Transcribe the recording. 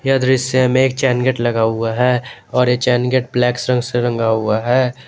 ये दृश्य में एक चैनगेट लगा हुआ है और ये चैनगेट ब्लैक रंग से रंगा हुआ है।